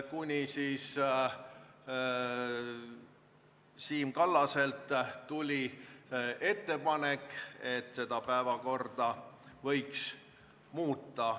Alles Siim Kallaselt tuli ettepanek, et päevakorda võiks muuta.